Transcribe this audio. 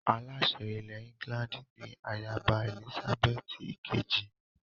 Aláṣẹ ilẹ̀ England ni ayaba Èlísábẹ́ẹ́tì ìkejì